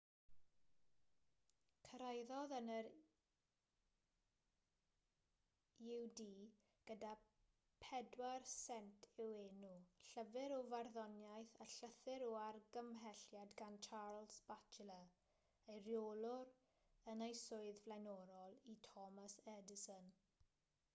cyrhaeddodd yn yr ud gyda 4 sent i'w enw llyfr o farddoniaeth a llythyr o argymhelliad gan charles batchelor ei reolwr yn ei swydd flaenorol i thomas edison